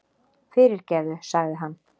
Fyrirgefðu, sagði hann.